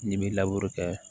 N'i m'i kɛ